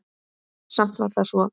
Samt var það svo.